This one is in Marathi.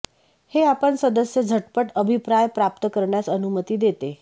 हे आपण सदस्य झटपट अभिप्राय प्राप्त करण्यास अनुमती देते